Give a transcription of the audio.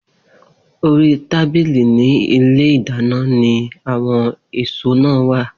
Orí tábìlì ní ilé ìdáná ni àwo̩n èso náà wà